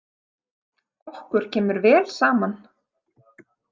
Okkur kemur vel saman.